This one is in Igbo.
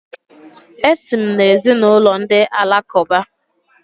Esi m n’ezinụlọ ndị Alakụba.